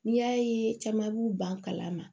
N'i y'a ye caman b'u ban kala ma